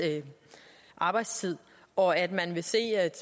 arbejdstid og at man vil se at